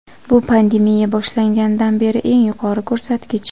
bu pandemiya boshlanganidan beri eng yuqori ko‘rsatkich.